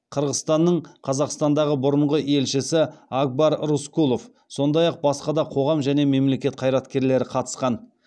қырғызстанның қазақстандағы бұрынғы елшісі акбар рыскулов сондай ақ басқа да қоғам және мемлекет қайраткерлері қатысқан